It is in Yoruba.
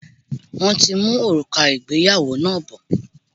Wọ́n ti ń mú òrùka ìgbéyàwó náà bọ̀.